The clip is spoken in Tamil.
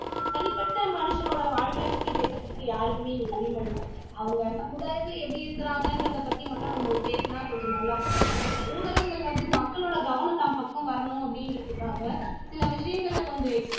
தனிப்பட்ட மனுஷனுடைய வாழ்க்கை பத்தி பேசுறதுக்கு இங்கு யாருக்குமே உரிமை இல்லை அவங்க சமுதாயத்தில எப்படி இருக்குறாங்கன்றதை பத்தி மட்டும் நாம் பேசினா நமக்கு கொஞ்சம் நல்லா இருக்கும் ஊடகங்கள் வந்து மக்களுடைய கவனம் வந்து தன் பக்கம் வரணும் அப்படின்றதுக்கா சில விஷயங்களை கொஞ்சம்